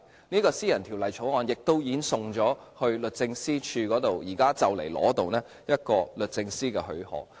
這項私人條例草案亦已送交律政司，即將得到律政司的許可。